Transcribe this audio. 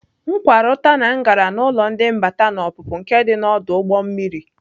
M kwara ụta na m gara n'ụlọ ndị mbata na ọpụpụ nke dị n'ọdụ ụgbọ mmiri.